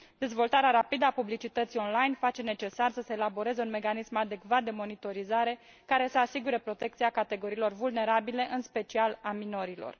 Dezvoltarea rapidă a publicității online face necesar să se elaboreze un mecanism adecvat de monitorizare, care să asigure protecția categoriilor vulnerabile, în special a minorilor.